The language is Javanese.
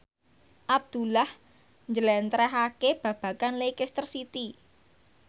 Abdullah njlentrehake babagan Leicester City